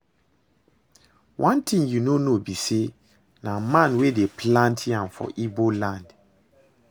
One thing you no know be say na man wey dey plant yam for Igbo land